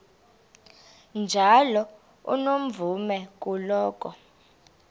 njalo unomvume kuloko